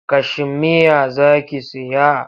Kashimeya za ki saya?